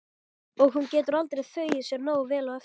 Og hún getur aldrei þvegið sér nógu vel á eftir.